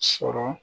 Sɔrɔ